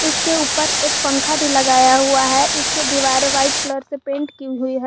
इसके ऊपर एक पंखा भी लगाया हुआ है इसके दीवारें व्हाइट कलर से पेंट की हुई है।